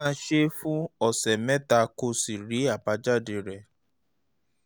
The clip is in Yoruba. máa ṣe é fún ọ̀sẹ̀ mẹ́ta kó o sì rí àbájáde rẹ̀